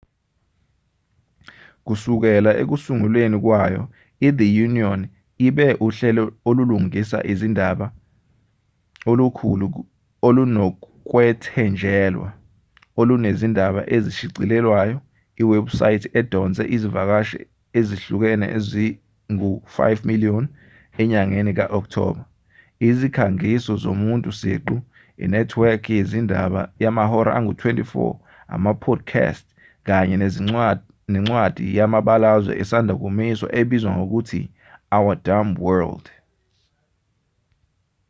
kusukela ekusungulweni kwayo ithe onion ibe uhlelo olulingisa izindaba olukhulu olunokwethenjelwa olunezindaba ezishicilelwayo iwebhusayithi edonse izivakashi ezihlukile ezi-5,000,000 enyangeni ka-okthoba izikhangiso zomuntu siqu inethiwekhi yezindaba yamahora angu-24 ama-podcast kanye nencwadi yamabalazwe esanda kumiswa ebizwa ngokuthi our dumb world